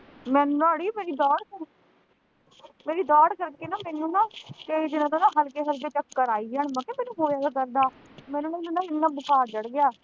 ਮੈਨੂੰ ਨਾ ਅੜੀਏ ਮੇਰੀ ਜਾੜ੍ਹ ਕਰਕੇ ਮੇਰੀ ਜਾੜ੍ਹ ਕਰਕੇ ਨਾ ਮੈਨੂੰ ਨਾ ਕਈ ਦਿਨਾਂ ਤੋਂ ਨਾ ਹਲਕੇ ਹਲਕੇ ਚੱਕਰ ਆਈ ਜਾਣ, ਮੈਂ ਕਿਆ ਮੈਨੂੰ ਹੋਇਆ ਕੀ ਕਰਦਾ, ਮੈਨੂੰ ਨਾ ਇੰਨਾ ਬੁਖਾਰ ਚੜ੍ਹ ਗਿਆ